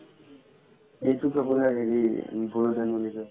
সেইটোক আপোনাৰ হেৰি বড়ো ধান বুলি কই